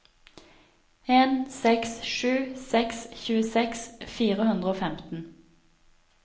en seks sju seks tjueseks fire hundre og femten